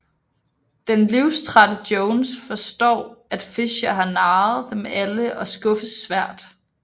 Den livstrætte Jones forstår at Fischer har narret dem alle og skuffes svært